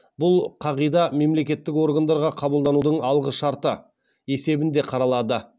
бұл қағида мемлекеттік органдарға қабылданудың алғы шарты есебінде қаралады